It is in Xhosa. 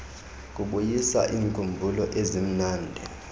kubuyisa iinkumbulo ezimnandi